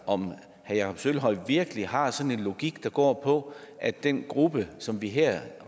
om herre jakob sølvhøj virkelig har sådan en logik der går på at den gruppe som vi her